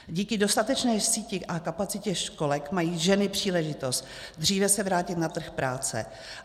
Díky dostatečné síti a kapacitě školek mají ženy příležitost dříve se vrátit na trh práce.